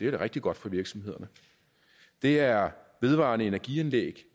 rigtig godt for virksomhederne det er vedvarende energianlæg